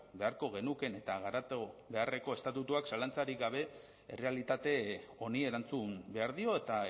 beharko genukeen eta garatu beharreko estatutuak zalantzarik gabe errealitate honi erantzun behar dio eta